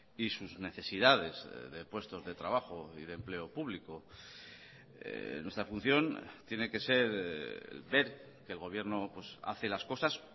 y sus necesidades de puestos de trabajo y de empleo público nuestra función tiene que ser ver que el gobierno hace las cosas